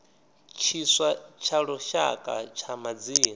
tshiswa tsha lushaka tsha madzina